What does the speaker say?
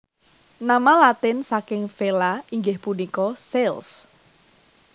Nama Latin saking Vela inggih punika sails